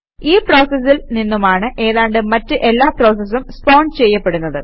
ഈ പ്രോസസിൽ നിന്നുമാണ് ഏതാണ്ട് മറ്റ് എല്ലാ പ്രോസസസും സ്പോൺ ചെയ്യപ്പെടുന്നത്